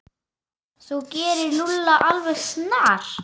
Þú gerir Lúlla alveg snar,